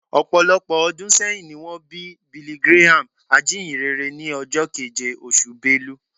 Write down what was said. Ọ̀pọ̀lọpọ̀ ọdún sẹ́yìn ni wọ́n bí Billy Graham, ajínyìnrere, ní ọjọ́ keje, oṣù Belu